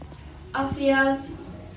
af því að